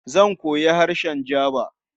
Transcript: Zan koyi harshen Jaba.